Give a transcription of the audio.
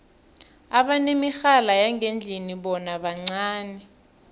abanemirhala yangendlini bona bancani